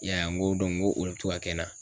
I y'a ye n ko n ko olo bɛ to ka kɛ n na.